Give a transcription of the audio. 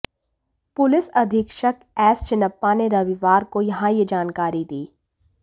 police अधीक्षक S Channappa ने रविवार को यहां यह जानकारी दी